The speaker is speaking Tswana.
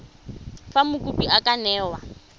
fa mokopi a ka newa